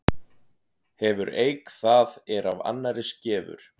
Hefur eik það er af annarri skefur.